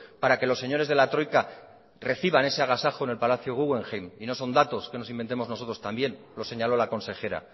para que los señores de la troika reciban ese agasajo en el palacio guggenheim y no son datos que nos inventemos nosotros también lo señaló la consejera